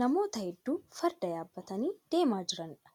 Namoota hedduu Farda yaabbatanii deemaa jiraniidha.